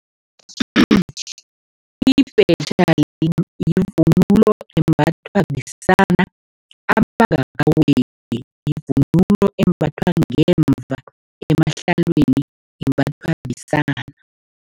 Ibhetjha yivunulo embathwa besana abangakaweli, yivunulo embathwa ngemva emahlelweni, imbathwa besana.